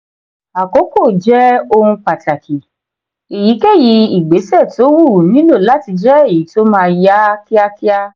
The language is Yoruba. àkókò jẹ ohun pàtàkì. èyíkéyìí ìgbésẹ tó wù nílò láti jẹ èyí tó máa yá kíákíá.